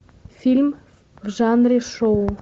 фильм в жанре шоу